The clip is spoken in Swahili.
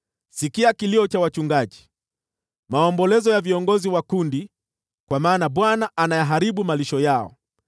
Sikia kilio cha wachungaji, maombolezo ya viongozi wa kundi, kwa maana Bwana anayaharibu malisho yao.